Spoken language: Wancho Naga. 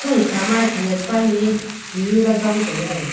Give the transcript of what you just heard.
sung kha maye khanyak pani e ti jola jong chong taiga.